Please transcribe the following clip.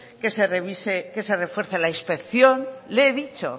que se refuerce la inspección le he dicho